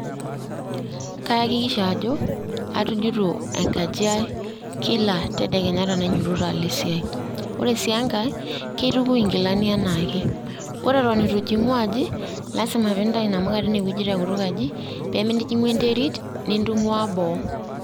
Kahakikisha ajo atujuto enkaji ai kila tedekenya tenainyototo alo esiai .ore sii enkae kiitukui inkilani anaake, ore eton itu ijingu aji lasima pintayu namuka teine te kutuk aji peemintijingu enterit nintungwaa boo.